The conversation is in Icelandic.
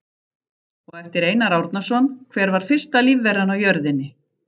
Og eftir Einar Árnason: Hver var fyrsta lífveran á jörðinni?